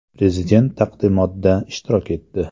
Prezident taqdimotda ishtirok etdi.